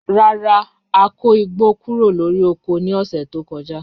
Rara, a ko igbo kuro lori oko ni ọsẹ to kọja